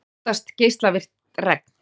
Óttast geislavirkt regn